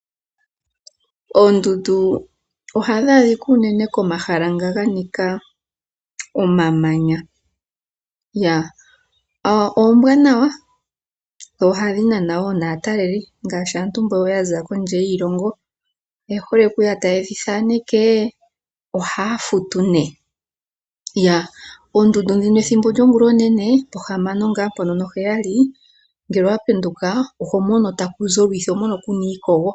Oondundu ohadhi adhika unene komahala nga ganika omamanya. Oombwanawa dho ohadhi nana woo naantu mboka yaza kondje yiilongo. Oyehole okuya tayedhi thaneke ,ohaya futu nee. Oondundu ndhino ethimbo lyongula onene pohamano ngaa mpono noheyali ngele owapenduka ohomono takuzi olwiithi, kuna iikogo.